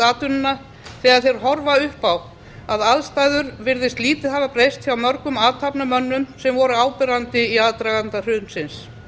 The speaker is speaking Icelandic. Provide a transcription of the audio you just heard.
atvinnuna þegar þeir horfa upp á að aðstæður virðast lítið hafa breyst hjá mörgum athafnamönnum sem voru áberandi í aðdraganda hrunsins